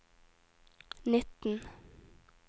nitten